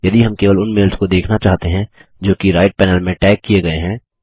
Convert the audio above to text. यदि हम केवल उन मेल्स को देखना चाहते हैं जो कि राइट पैनल में टैग किये गये हैं